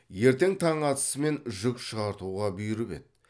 ертең таң атысымен жүк шығартуға бұйырып еді